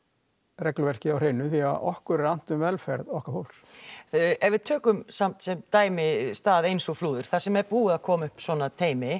regluverkið á hreinu því okkur er annt um velferð okkar fólks ef við tökum samt sem dæmi stað eins og Flúðir þar sem er búið að koma upp svona teymi